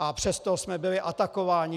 A přesto jsme byli atakováni.